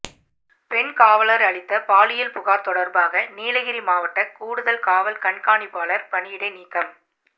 பெண் காவலர் அளித்த பாலியல் புகார் தொடர்பாக நீலகிரி மாவட்ட கூடுதல் காவல் கண்காணிப்பாளர் பணியிடை நீக்கம்